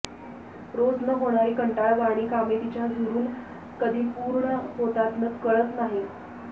रोज न होणारी कंटाळवाणी कामे तिच्या झुरून कधी पूर्ण होतात कळत नाही